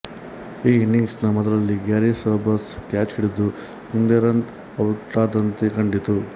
ಈ ಇನಿಂಗ್ಸಿನ ಮೊದಲಲ್ಲಿ ಗ್ಯಾರಿ ಸೋಬರ್ಸ್ ಕ್ಯಾಚ್ ಹಿಡಿದು ಕುಂದೆರನ್ ಔಟಾದಂತೆ ಕಂಡಿತು